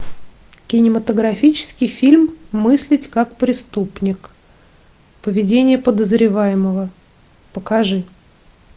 кинематографический фильм мыслить как преступник поведение подозреваемого покажи